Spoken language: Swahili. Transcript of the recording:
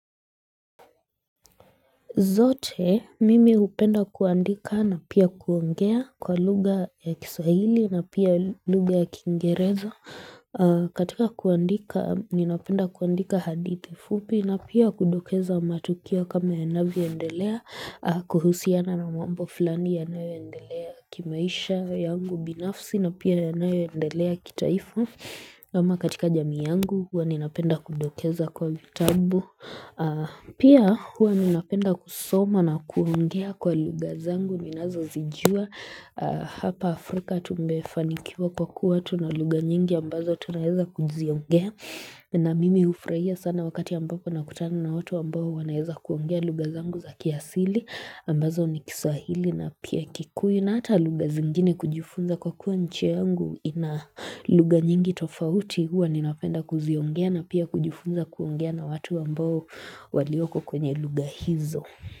Zote, mimi hupenda kuandika na pia kuongea kwa lugha ya kiswahili na pia lugha ya kingereza. Katika kuandika, ninapenda kuandika hadithi fupi na pia kudokeza matukio kama yanavyoendelea, kuhusiana na mambo fulani yanayoendelea kimaisha yangu binafsi na pia yanayoendelea kitaifu. Kama katika jamii yangu, huwa ninapenda kundokeza kwa vitabu Pia huwa ninapenda kusoma na kuongea kwa lugha zangu Ninazozijua hapa Afrika tumefanikiwa kwa kuwa tunalugha nyingi ambazo tunaeza kuziongea na mimi hufurahia sana wakati ambapo nakutana na watu ambao wanaeza kuongea lugha zangu za kiasili ambazo ni kiswahili na pia kikuyu na ata lugha zingine kujufunza kwa kuwa nchi yangu ina lugha nyingi tofauti huwa ninapenda kuziongea na pia kujufunza kujufunza kujufunza na watu ambao walioko kwenye lugha hizo.